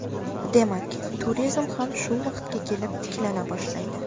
Demak, turizm ham shu paytga kelib tiklana boshlaydi.